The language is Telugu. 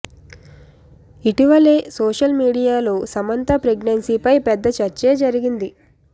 ఇటీవలే సోషల్ మీడియాలో సమంత ప్రెగ్నెన్సీ పై పెద్ద చర్చే జరిగింది